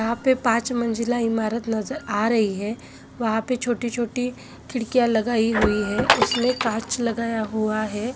यहाँ पे पाँच मंज़िला इमारत नज़र आ रही है वहाँ पे छोटी छोटी खिड़कियाँ लगायी हुई है उसमे काँच लगा हुआ है।